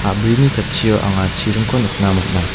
a·brini jatchio anga chiringko nikna man·a.